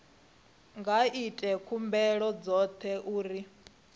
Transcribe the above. nga ita khumbelo khothe uri